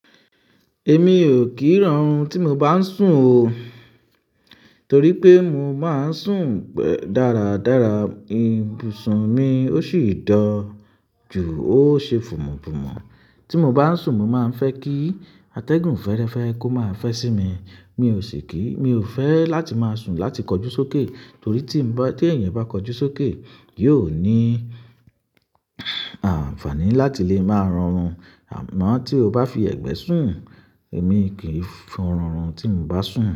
Èmi ò kí rán run tí mo bá ń sùn o. Torí pé mo má ń sùn pẹ̀-- dáradára, ibùsùn mi ó sì ń dọ̀ jù, ó ṣe fùmùfùmù. Tí mo bá ń sùn, mo má ń fẹ́ kí atẹ́gùn fẹ́rẹ́ fẹ́ kó má fẹ́ sí mi. Mi ò sì kí-- mi ò fẹ́ láti máa sùn láti kọjú sókè. Torí tí ń bá-- tí èèyàn bá kọjú sókè, yóò ní àǹfààní láti lè máa rorun Àmọ́ tí o bá fi ẹ̀gbẹ́ sùn, èmi kì í fún rùnrun tí mo bá sùn.